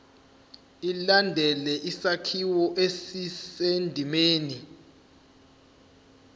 ilandele isakhiwo esisendimeni